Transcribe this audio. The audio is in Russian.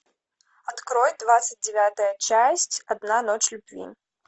открой двадцать девятая часть одна ночь любви